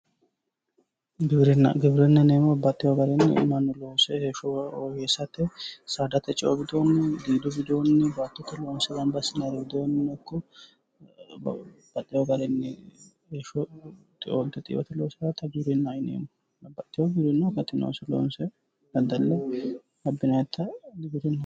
Giwirina Giwirinahho yineemohu baxewo garinni mannu loose heesho woyyeesate saadate ceo widooni gidu widooni battote loonise ganibba asinannireno ikko baxxewo garinni heesho xeoonit xeo loosirate afamewoha giwirinnaho yineemo